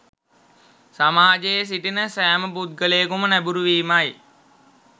සමාජයේ සිටින සෑම පුද්ගලයකුම නැඹුරු වීමයි